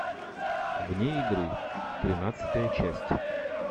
вне игры тринадцатая часть